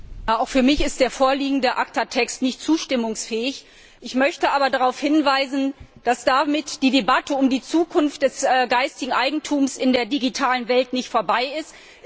Herr Präsident! Auch für mich ist der vorliegende ACTA Text nicht zustimmungsfähig. Ich möchte aber darauf hinweisen, dass damit die Debatte über die Zukunft des geistigen Eigentums in der digitalen Welt nicht vorbei ist.